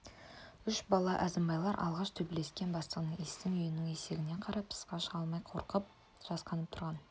үш бала әзімбайлар алғаш төбелес бастағанда иістің үйінің есігінен қарап тысқа шыға алмай қорқып жасқанып тұрған